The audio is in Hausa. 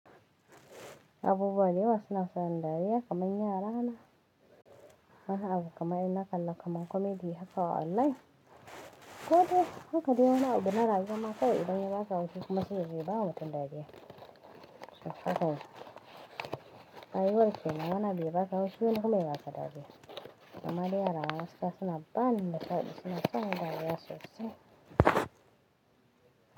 Abubuwa dayawa suna sani dariya kamar yara na. Haka abu kaman inna kalla kaman comedy haka a online. Ko dai haka dai wani abu dai na rayuwa ma kawai idan ya ba ka haushi kuma sai yazo bawa mutum dariya. Haka, rayuwar kenan wani abu yabaka haushi wani kuma ya baka dariya. Mamma dai yara na gaskiya suna bani nishaɗi suna sani dariya so se.